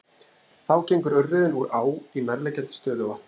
Þá gengur urriðinn úr á í nærliggjandi stöðuvatn.